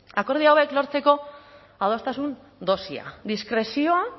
akordio hauek lortzeko adostasun dosia diskrezioa